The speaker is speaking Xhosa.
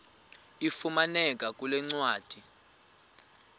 ifumaneka kule ncwadi